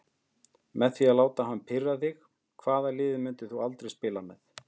Með því að láta hann ekki pirra þig Hvaða liði myndir þú aldrei spila með?